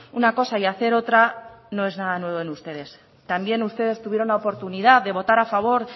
una cosa y hacer otra no es nada nuevo en ustedes también ustedes tuvieron la oportunidad de votar a favor